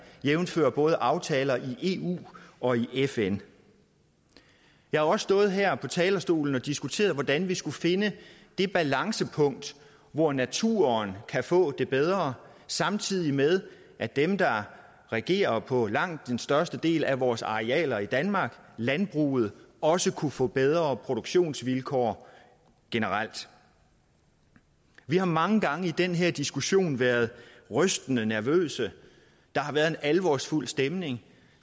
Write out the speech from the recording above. jævnfør både aftaler i eu og i fn jeg har også stået her på talerstolen og diskuteret hvordan vi skulle finde det balancepunkt hvor naturen kan få det bedre samtidig med at dem der regerer på langt den største del af vores arealer i danmark landbruget også kunne få bedre produktionsvilkår generelt vi har mange gange i den her diskussion været rystende nervøse der har været en alvorsfuld stemning